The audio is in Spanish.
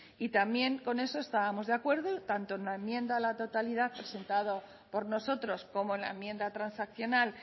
y también con eso estábamos de acuerdo tanto en la enmienda a la totalidad presentada por nosotros como en la enmienda transaccional